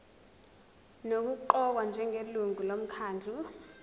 nokuqokwa njengelungu lomkhandlu